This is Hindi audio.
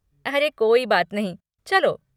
अरे कोई बात नहीं, चलो!